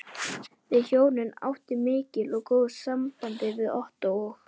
Við hjónin áttum mikil og góð samskipti við Ottó og